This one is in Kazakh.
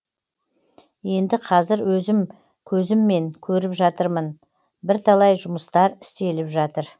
енді қазір өзім көзіммен көріп жатырмын бірталай жұмыстар істеліп жатыр